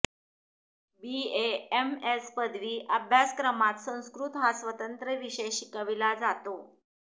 BAMS पदवी अभ्यासक्रमात संस्कृत हा स्वतंत्र विषय शिकविला जातो